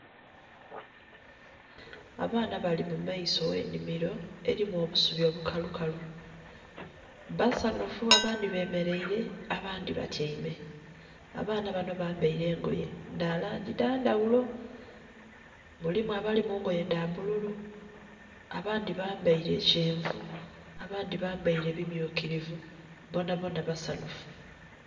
Abaana bali mu maiso oghe nnhimilo, elimu obusubi obukalukalu. Basanhufu abandhi bemeleile abandhi batyaime. Abaana banho bambaile engoye dha langi dha ndhaghulo. Mulimu abali mu ngoye dha bbululu, abandhi bambaile kyenvu, abandhi bambaile bimyukilivu bonabona basanhufu.